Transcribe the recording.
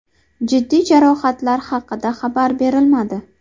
Jiddiy jarohatlar haqida xabar berilmadi.